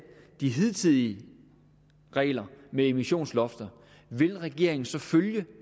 de hidtidige regler med emissionslofter vil regeringen så følge